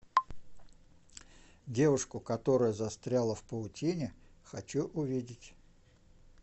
девушку которая застряла в паутине хочу увидеть